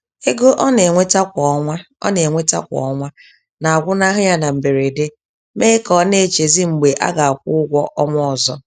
Ego ọna enweta kwa ọna enweta kwa ọnwa nagwụnahụ ya na mberede, mee ka ọ na-echezi mgbe a ga-akwụ ụgwọ ọnwa ọzọ.